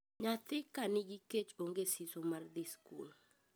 Nyathi ka nigi kech onge siso mar dhii skul.